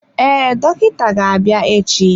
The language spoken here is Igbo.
Ee, dọkịta ga-abịa echi.